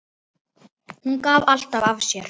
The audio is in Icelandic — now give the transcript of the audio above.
Hún gaf alltaf af sér.